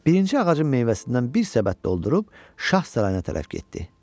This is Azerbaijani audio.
Birinci ağacın meyvəsindən bir səbət doldurub şah sarayına tərəf getdi.